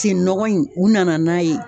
Sen nɔgɔ in u nana n'a ye.